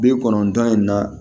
Bi kɔnɔntɔn in na